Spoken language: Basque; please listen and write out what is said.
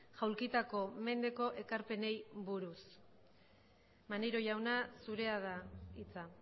jaulkitako mendeko ekarpenei buruz maneiro jauna zurea da hitza